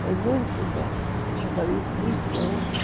Foi muito bom, um casamento muito bom.